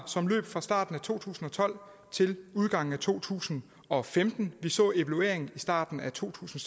som løb fra starten af to tusind og tolv til udgangen af to tusind og femten vi så evalueringen i starten af to tusind